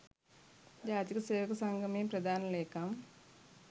ජාතික සේවක සංගමයේ ප්‍රධාන ලේකම්.